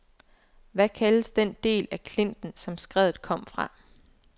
Hvad kaldes den del af klinten, som skredet kom fra?